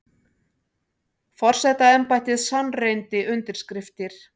Forsetaembættið sannreyndi undirskriftir